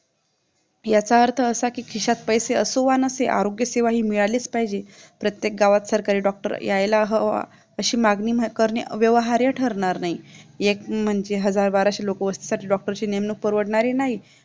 याचा अर्थ असा की खिशात पैसे असो वा नसो आरोग्यसेवा ही मिळालीच पाहिजे. प्रत्येक गावात सरकारी DOCTOR यायला हवे अशी मागणी करणे व्यवहार्य ठरणार नाही. एक म्हणजे हजार बाराशे लोकांसाठी एका DOCTOR ची नेमणूक करणे परवडणार नाही